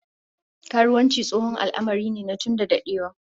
Karuwanci tsohon al'amari ne tun dadewa